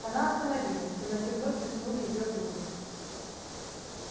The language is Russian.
она остановилась в темноте вновь блеснули её зубы